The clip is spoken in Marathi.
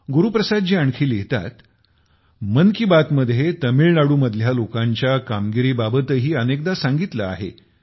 गुरु प्रसाद जी आणखी लिहितात मन की बात मध्ये तामिळनाडू मधल्या लोकांच्या कामगिरी बाबतही अनेकदा सांगितले आहे